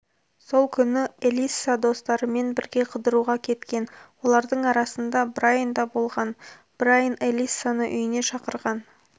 сол күні элисса достарымен бірге қыдыруға кеткен олардың арасында брайн да болған брайн элиссаны үйіне шақырған